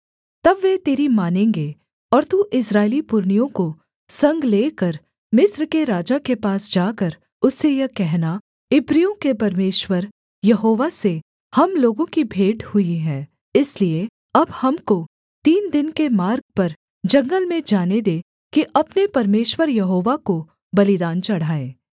तब वे तेरी मानेंगे और तू इस्राएली पुरनियों को संग लेकर मिस्र के राजा के पास जाकर उससे यह कहना इब्रियों के परमेश्वर यहोवा से हम लोगों की भेंट हुई है इसलिए अब हमको तीन दिन के मार्ग पर जंगल में जाने दे कि अपने परमेश्वर यहोवा को बलिदान चढ़ाएँ